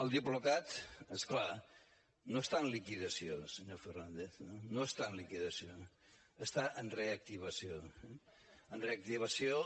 el diplocat és clar no està en liquidació senyor fernández no està en liquidació està en reactivació en reactivació